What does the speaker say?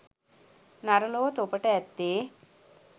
නර ලොව තොපට ඇත්තේ